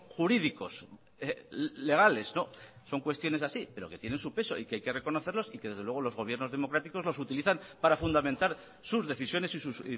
jurídicos legales son cuestiones así pero que tienen su peso y que hay que reconocerlos y que desde luego los gobiernos democráticos los utilizan para fundamentar sus decisiones y sus